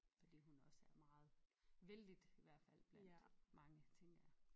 Fordi hun også er meget vellidt i hvert fald blandt mange tænker jeg